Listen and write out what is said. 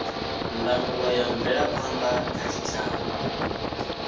ndangulo ya mvelaphanda kha tshitshavha